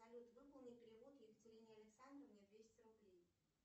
салют выполни перевод екатерине александровне двести рублей